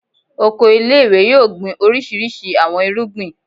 Oko ile-iwe yoo gbin orisirisi awọn irugbin